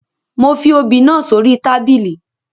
Mo fi obì náà sórí tábìlì